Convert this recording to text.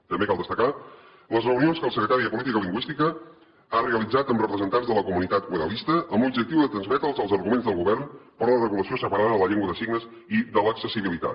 també cal destacar les reunions que el secretari de política lingüística ha realitzat amb representants de la comunitat oralista amb l’objectiu de transmetre’ls els arguments del govern per a la regulació separada de la llengua de signes i de l’accessibilitat